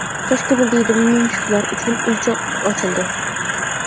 Toshkentda daydi mushuklar uchun uycha ochildi.